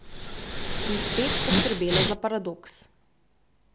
In spet poskrbela za paradoks.